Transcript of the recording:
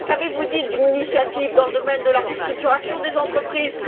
Qu'avez vous dit d'une initiative dans le domaine de la restructuration des entreprises?